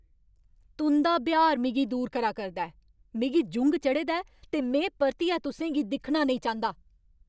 तुं'दा ब्यहार मिगी दूर करा करदा ऐ। मिगी जुंग चढ़े दा ऐ ते में परतियै तुसें गी दिक्खना नेईं चांह्दा!